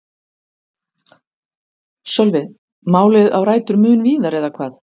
Sölvi: Málið á rætur mun víðar eða hvað?